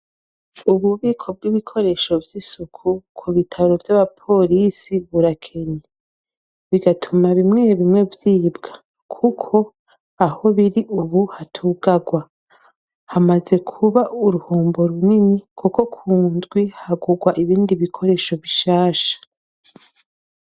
Ububiko bw'ibikoresho by'isuku ku bitaro by'abapolisi burakenye bigatuma bimwe bimwe vyibwa kuko aho biri ubu hatugagwa hamaze kuba uruhombo runini kuko kundwi hagugwa ibindi bikoresho bishasha.